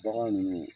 Bagan nunnu